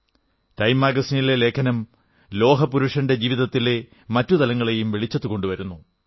time മാഗസിനിലെ ലേഖനം ലോഹപുരുഷന്റെ ജീവിതത്തിലെ മറ്റു തലങ്ങളെയും വെളിച്ചത്തുകൊണ്ടുവരുന്നു